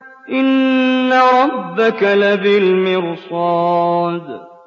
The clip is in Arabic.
إِنَّ رَبَّكَ لَبِالْمِرْصَادِ